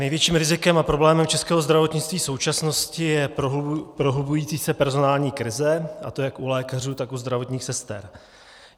Největším rizikem a problémem českého zdravotnictví současnosti je prohlubující se personální krize, a to jak u lékařů, tak u zdravotních sester.